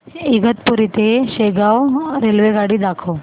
इगतपुरी ते शेगाव रेल्वेगाडी दाखव